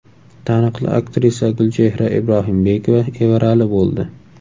Taniqli aktrisa Gulchehra Ibrohimbekova evarali bo‘ldi.